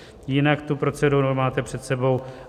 Jinak tu proceduru máte před sebou.